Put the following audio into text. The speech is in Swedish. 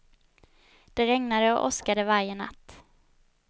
Det regnade och åskade varje natt.